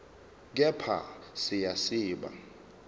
kepha siya siba